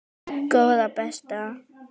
Góða besta.